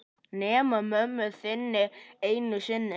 Nema mömmu þinni einu sinni.